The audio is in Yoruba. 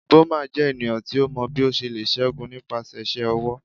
Boma jẹ eniyan ti o mọ bi o ṣe le ṣẹgun nipasẹ iṣẹ ọwọ